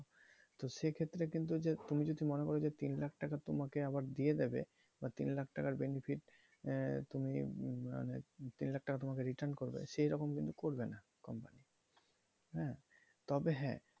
তো সেক্ষেত্রে কিন্তু যে তুমি যদি মনে করো যে তিন লাখ টাকা তোমাকে আবার দিয়ে দেবে বা তিন লাখ টাকার benefit আহ তুমি মানে তিন লাখ টাকা তোমাকে return করবে সেরকম কিন্তু করবে না company হ্যাঁ? তবে হ্যাঁ।